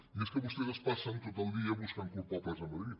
i és que vostès es passen tot el dia buscant culpables a madrid